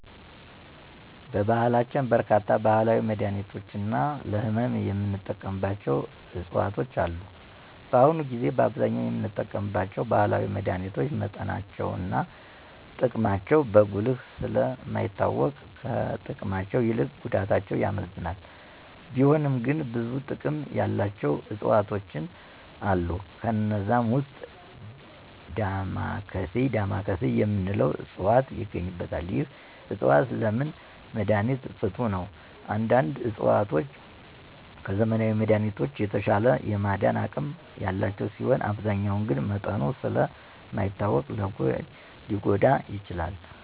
በባህላችን በርካታ ባህላዊ መድሀኒቶች እና ለህመም የምንጠቀምባቸው ዕፅዋቶች አሉ። በአሁኑ ጊዜ በአብዛኛው የምንጠቀማቸው ባህላዊ መድሀኒቶች መጠናቸው እና ጥቅማቸው በጉልህ ስለ ማይታወቅ ከጥቅማቸው ይልቅ ጉዳታቸው ያመዝናል፤ ቢሆንም ግን ብዙ ጥቅም ያላቸው ዕፅዋቶች አሉ። ከነዛም ዉስጥ "ዳማካሴ " የምንለው ዕፅዋት ይገኝበታል። ይህ ዕፅዋት ለምች መድሀኒት ፍቱን ነው። አንዳንድ ዕፅዋቶች ከዘመናዊ መድሀኒቶች የተሻለ የማዳን አቅም ያላቸው ሲሆኑ አብዛኛው ግን መጠኑ ስለ ማይታወቅ ሊጐዳ ይችላል።